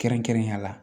Kɛrɛnkɛrɛnnenya la